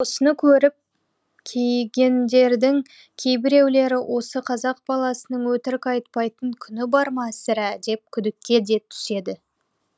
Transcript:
осыны көріп кейігендердің кейбіреулері осы қазақ баласының өтірік айтпайтын күні бар ма сірә деп күдікке де түседі